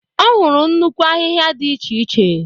Ọ hụrụ nnukwu ahịhịa dị iche iche.